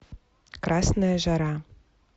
красная жара